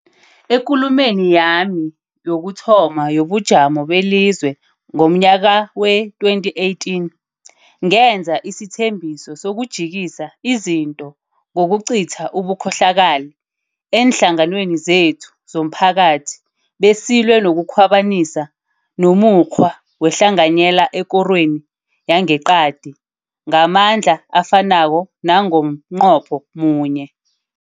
EKulumeni yami yokuthoma yobuJamo beliZwe ngomnyaka wee-2018, ngenza isithembiso sokujikisa izinto ngokucitha ubukhohlakali eenhlanganweni zethu zomphakathi besilwe nokukhwabanisa nomukghwa wehlanganyela ekorweni yangeqadi ngamandla afanako nango mnqopho munye.